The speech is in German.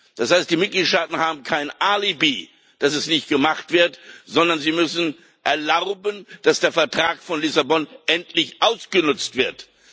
Das heißt, die Mitgliedstaaten haben kein Alibi, dass es nicht gemacht wird, sondern sie müssen erlauben, dass der Vertrag von Lissabon endlich ausgenutzt wird.